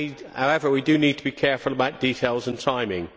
However, we do need to be careful about details and timing.